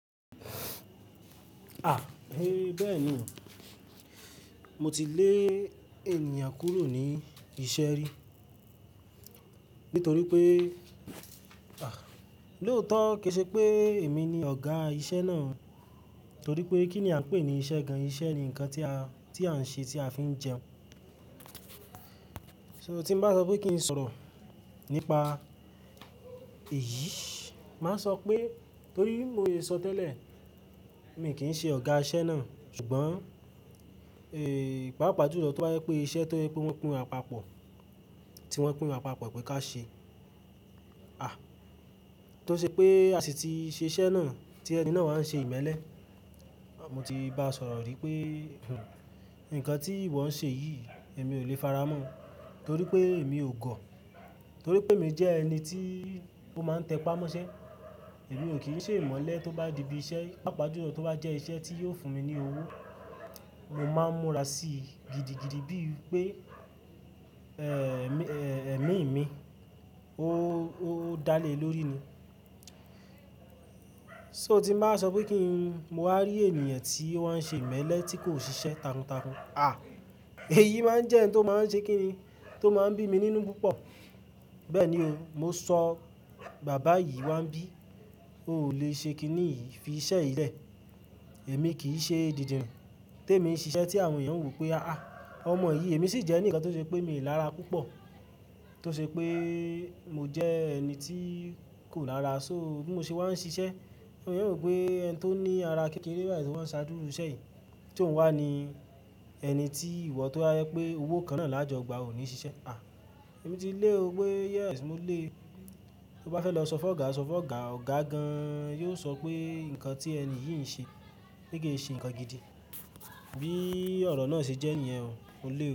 A! He bẹ́ẹ̀ ni o, mo ti lé ènìyàn kúrò ní iṣẹ́ rí nítorí pé, a! Lóòótọ́, kì í ṣe pé èmi ni ọ̀gá iṣẹ́ náà torí pé kí ni à ń pè ní iṣẹ́ gan an? Iṣẹ́ ni nǹkan tí a, tí à ń ṣe tí a fi ń jẹun. Nitori naa, tí n bá sọ pé kí n sọ̀rọ̀ nípa èyí, má sọ pé torí bi mo se sọ tẹ́lẹ̀ mi kì í ṣe ọ̀gá iṣẹ́ náà ṣùgbọ́n, e, pàápàá ju òótọ́ bá yẹ pé iṣẹ́ tó pé wọ́n pín wa papọ̀, tí wọ́n pín wa papọ̀ pé ká ṣẹ, a! Tó ṣe pé a sì ti ṣe iṣẹ́ náà tí ẹni náà wà ń ṣe ìmẹ́lẹ́, mo ti bá a sọ̀rọ̀ wípé, "nǹkan tí ìwọ ń ṣe yìí èmi ò lè faramọ́ torí pé èmi ò gọ̀. Torí pé mi jẹ́ ẹni tí ó máa ń tẹ́pà mọ́ṣẹ́, èmi ò kí ń ṣe ìmọ́lẹ̀ tó bá di ibi iṣẹ́, pàápàá ju òótọ́ bá jẹ́ iṣẹ́ tí yóò fún mi ní owó, mo máa múra sí i gidigidi bí i pé, ẹ, ẹmi mi, ó dá lé lórí ni." Nitori naa, tí n bá sọ wípé kí n, mo wá rí ènìyàn tí wọ́n ṣe ìmẹ́lẹ́ tí kò ṣiṣẹ́ takuntakun, a! Èyí máa ń jẹ́ ǹ tó máa ń ṣe kí ni, tó máa ń bí mi nínú púpọ̀. Bẹ́ẹ̀ ni o, mo sọ bàbá yìí wá ń bí, ó ò lè ṣe kí ni fi iṣẹ́ yìí lẹ̀. Èmi kì í ṣe dìdìrin, té mi ń ṣiṣẹ́ tí àwọn èèyàn ó wí pé a! Ọmọ yìí, èmi sì jẹ́ ẹni kan tó ṣe pé mi lára púpọ̀. Tó ṣe pé mo jẹ ẹni tí kò lára. Nitori bí mo ṣe wá ń ṣiṣẹ́, àwọn èèyàn ó wí pé ẹni tó ní ara kékeré báyìí ṣé wọ́n ṣáàdúru ṣẹ̀yìn. Tí òun wá ni ẹni tí ìwọ tó rí pé owó kan náà lájọgbà ò ní ṣiṣẹ́ a! Èmi ti lé o pé yes, mo le. Ó bá fẹ́ lọ sọ fún ọ̀gá, sọ fún ọ̀gá. Ọ̀gá gan an yóò sọ pé nǹkan tí ẹni yìí ń ṣe gẹ́gẹ́ sí nǹkan gidi. Bí ọ̀rọ̀ náà ṣe jẹ́ èèyàn o, mo lé ọ.